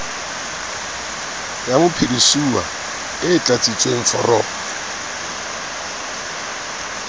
ya mophedisuwa e tlatsitsweng foromong